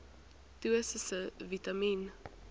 dosisse vitamien